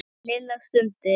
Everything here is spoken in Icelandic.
Lilla stundi.